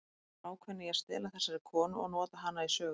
Hann var ákveðinn í að stela þessari konu og nota hana í sögu.